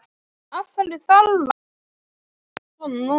Af hverju þarf hann að láta svona núna?